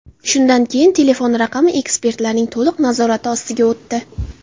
Shundan keyin telefon raqami ekspertlarning to‘liq nazorati ostiga o‘tdi.